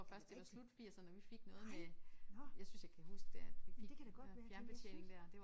Er det rigtigt? Nej nåh men det kan da godt være det var jeg synes